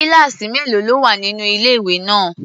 Kíláàsì mélòó ló wà nínú ilé-ìwé náà?